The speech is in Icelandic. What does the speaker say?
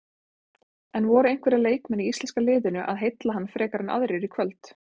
En voru einhverjir leikmenn í íslenska liðinu að heilla hann frekar en aðrir í kvöld?